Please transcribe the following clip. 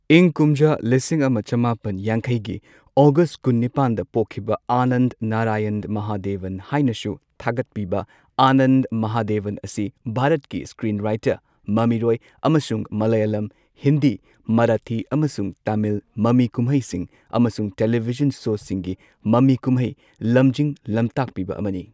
ꯏꯪ ꯀꯨꯝꯖꯥ ꯂꯤꯁꯤꯡ ꯑꯃ ꯆꯃꯥꯄꯟ ꯌꯥꯡꯈꯩꯒꯤ ꯑꯣꯒꯁꯠ ꯀꯨꯟꯅꯤꯄꯥꯟꯗ ꯄꯣꯛꯈꯤꯕ ꯑꯅꯟꯠ ꯅꯥꯔꯥꯌꯟ ꯃꯍꯥꯗꯦꯕꯟ ꯍꯥꯏꯅꯁꯨ ꯊꯥꯒꯠꯄꯤꯕ ꯑꯅꯟꯠ ꯃꯍꯥꯗꯦꯕꯟ ꯑꯁꯤ ꯚꯥꯔꯠꯀꯤ ꯁ꯭ꯀꯔꯤꯟꯋ꯭ꯔꯥꯏꯇꯔ, ꯃꯃꯤꯔꯣꯏ, ꯑꯃꯁꯨꯡ ꯃꯂꯌꯂꯝ, ꯍꯤꯟꯗꯤ, ꯃꯔꯥꯊꯤ, ꯑꯃꯁꯨꯡ ꯇꯃꯤꯜ ꯃꯃꯤ ꯀꯨꯝꯍꯩꯁꯤꯡ ꯑꯃꯁꯨꯡ ꯇꯦꯂꯤꯚꯤꯖꯟ ꯁꯣꯁꯤꯡꯒꯤ ꯃꯃꯤ ꯀꯨꯝꯍꯩ ꯂꯝꯖꯤꯡ ꯂꯝꯇꯥꯛꯄꯤꯕ ꯑꯃꯅꯤ꯫